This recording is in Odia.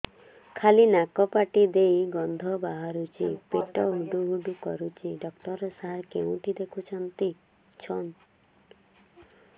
ଖାଲି ନାକ ପାଟି ଦେଇ ଗଂଧ ବାହାରୁଛି ପେଟ ହୁଡ଼ୁ ହୁଡ଼ୁ କରୁଛି ଡକ୍ଟର ସାର କେଉଁଠି ଦେଖୁଛନ୍ତ